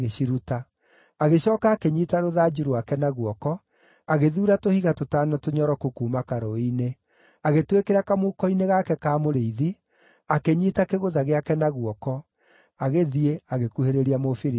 Agĩcooka akĩnyiita rũthanju rwake na guoko, agĩthuura tũhiga tũtano tũnyoroku kuuma karũũĩ-inĩ, agĩtwĩkĩra kamũhuko-inĩ gake ka mũrĩithi, akĩnyiita kĩgũtha gĩake na guoko, agĩthiĩ, agĩkuhĩrĩria Mũfilisti ũcio.